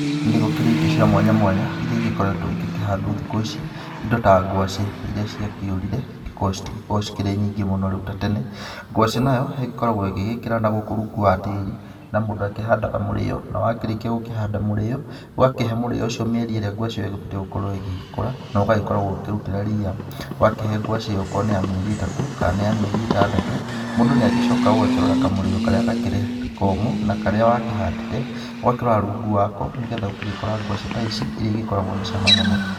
Nĩ gũkĩrĩ indo cia mwanya mwanya irĩa igĩkoretwo igĩkĩhandwo thikũ ici indo ta ngwacĩ irĩa ciakĩũrire ngwacĩ citikĩkoragwo ciĩ nyingĩ mũno rĩu ta tene, ngwacĩ nayo ĩgĩkoragwo ĩgĩgĩkĩra nagũkũ rungu wa tĩri na mũndũ akĩhandaga mũrĩo na wakĩrĩkia kũhanda mũrĩo ũgakĩhe mũrĩo ũcio mĩeri ĩrĩa ngwacĩ ĩyo ĩgĩbatie gũkorwo ĩgĩkũra na ũgagĩkoragwo ũkĩrutĩra ria ũgakĩhe ngwacĩ ĩyo okorwo nĩ ya mĩeri itatũ kana mĩeri nĩ ya mĩeri ĩtandatũ mũndũ nĩ agĩcokaga ũgakarora kamũrĩo karĩa gakĩrĩ komũ na karĩa wakĩhandĩte ũgakĩrora rungu wako nĩgetha ũgagĩkora ngwacĩ ta ici irĩa igĩkoragwo na cama mũno.